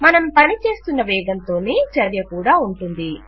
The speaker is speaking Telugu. మనం పని చేస్తున్న వేగంతోనే చర్య కూడా ఉంటుంది